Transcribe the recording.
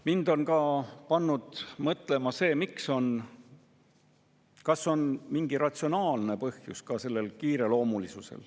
Mind on see pannud mõtlema, kas sellel kiireloomulisusel on ka mingi ratsionaalne põhjus.